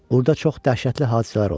Burda çox dəhşətli hadisələr olub.